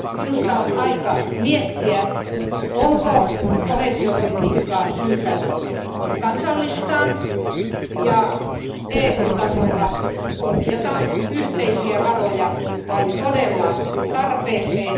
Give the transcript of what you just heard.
Minusta on aika miettiä, onko koheesiopolitiikkaa syytä kansallistaa ja EU tasolla ohjata yhteisiä varoja vain todelliseen tarpeeseen.